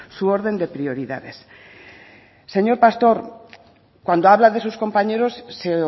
su orden de prioridades señor pastor cuando habla de sus compañeros se